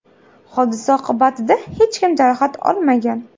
Hodisa oqibatida hech kim jarohat olmagan.